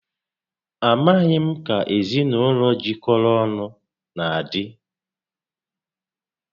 A maghị m ka ezinaụlọ jikọrọ ọnụ na adị